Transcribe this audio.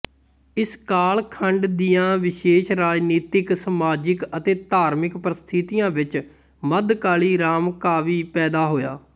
ਇਸਕਾਲ ਖੰਡ ਦੀਆ ਵਿਸ਼ੇਸ਼ ਰਾਜਨੀਤਿਕ ਸਮਾਜਿਕ ਅਤੇ ਧਾਰਮਿਕ ਪਰਿਸਥਿਤੀਆ ਵਿੱਚ ਮੱਧਕਾਲੀ ਰਾਮਕਾਵਿ ਪੈਦਾ ਹੋਇਆ